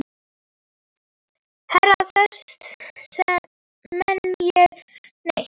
Heyra þessir menn ekki neitt?